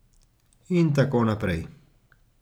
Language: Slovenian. In tako naprej.